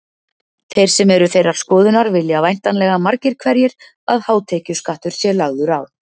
Þeir sem eru þeirrar skoðunar vilja væntanlega margir hverjir að hátekjuskattur sé lagður á.